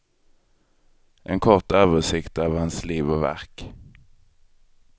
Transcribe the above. En kort översikt över hans liv och verk.